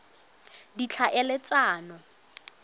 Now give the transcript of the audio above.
ditlhaeletsano